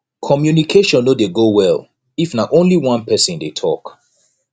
communication no de go well if na only one person de talk